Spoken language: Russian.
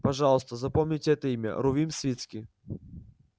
пожалуйста запомните это имя рувим свицкий